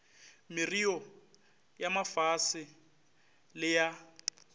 merreo ya mafase le ya